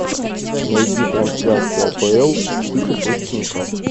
найди трансляцию апл сити против ньюкасла